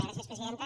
gràcies presidenta